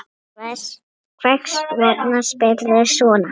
Hvers vegna spyrðu svona?